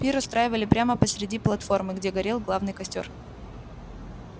пир устраивали прямо посреди платформы где горел главный костёр